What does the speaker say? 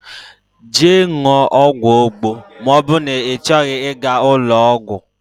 Jee ṅụọ ọgwụ Agbo ma oburu na ichoghi iga ulo ogwu.